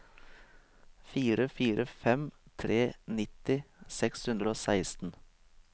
fire fire fem tre nitti seks hundre og seksten